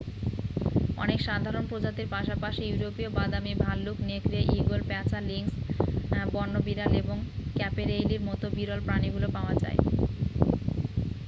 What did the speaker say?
অনেক সাধারণ প্রজাতির পাশাপাশি ইউরোপীয় বাদামী ভাল্লুক নেকড়ে ঈগল পেঁচা লিংস বন্য বিড়াল এবং ক্যাপেরেইলির মতো বিরল প্রাণীগুলি পাওয়া যায়